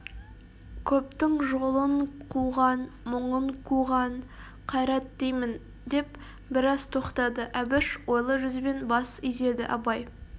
көптің жолын қуған мұңын куған қайрат деймін деп біраз тоқтады әбіш ойлы жүзбен бас изеді абай